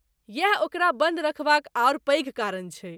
यैह ओकरा बन्द रखबाक आओर पैघ कारण छैक!